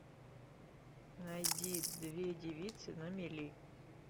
найди две девицы на мели